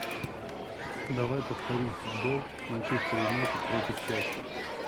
давай повторим футбол манчестер юнайтед против челси